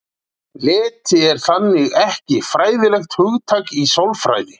Leti er þannig ekki fræðilegt hugtak í sálfræði.